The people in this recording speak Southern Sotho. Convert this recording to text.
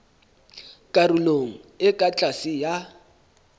karolong e ka tlase ya